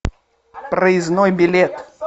проездной билет